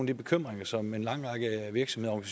de bekymringer som en lang række virksomheder og